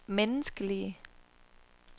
menneskelige